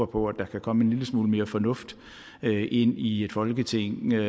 på at der kan komme en lille smule mere fornuft ind i folketinget